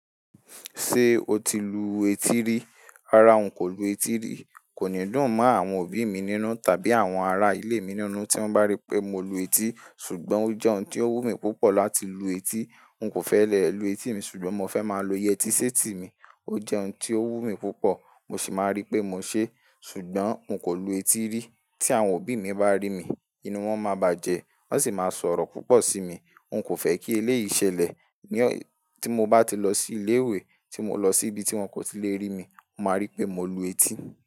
Ṣé o ti lu etí rí? Rárá, n kò lu etí ri. Kò ní dùn mọ àwon òbí mi nínú tàbí àwon ará ilé mi nínú tí won bá ri pé mo lu etí. Ṣùgbọ́n o jẹ́ oun tí ó wù mí púpọ̀ láti lu etí. N kò fẹ́ lè lu etí mi ṣùgbọ́n mo fẹ́ máa lo yẹtí séètì mi. O jẹ́ oun tí ó wù mí púpọ̀, mo sì máa ri pé mo ṣe. Ṣùgbọ́n n kò lu etí rí. Tí àwon òbí mi bá rí mi, inú wọn ma bajẹ, wọ́n sì máa sọ̀rọ̀ púpọ̀ sí mi. N kò fẹ́ kí eléyìí ṣẹlẹ̀. Tí mo bá ti lọ sí ilé ìwé, tí mo lọ sí ibi tí wọ́n kò ti lè rí mi, mo máa rí pé mo lu etí.